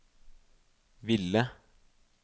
ville